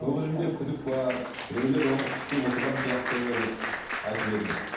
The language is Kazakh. көңілімде күдік бар біреулер оны күштеп отырған сияқты деп айтып едіңіз